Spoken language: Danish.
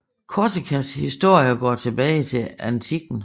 Korsikas historie går tilbage til antikken